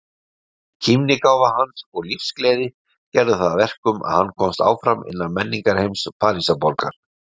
Kímnigáfa hans og lífsgleði gerðu það verkum að hann komst áfram innan menningarheims Parísarborgar.